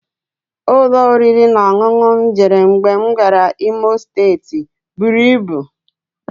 Ụlọ oriri na ọṅụṅụ m jere mgbe m gara Imo steeti buru ibu